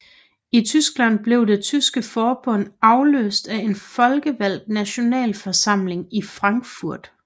I Tyskland blev det tyske forbund afløst af en folkevalgt Nationalforsamling i Frankfurt